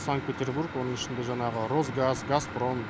санкт петербург оның ішінде жаңағы росгаз газпром